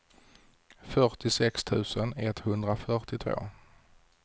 fyrtiosex tusen etthundrafyrtiotvå